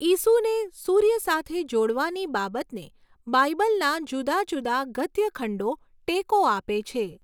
ઈસુને સૂર્ય સાથે જોડવાની બાબતને બાઇબલના જુદા જુદા ગદ્યખંડો ટેકો આપે છે.